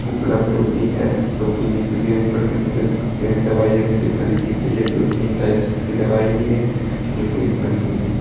उपलब्ध होती है तो फिर इसलिए ऊपर से नीचे तक सेम दवाइयां मुझे भरी दिख रही है दो तीन टाइप्स की दवाई है जो पूरी भरी हुई है।